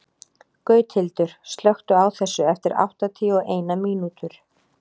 Gauthildur, slökktu á þessu eftir áttatíu og eina mínútur.